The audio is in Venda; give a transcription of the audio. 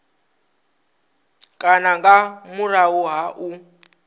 kana nga murahu ha u